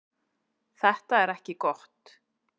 Þetta er ekki gott.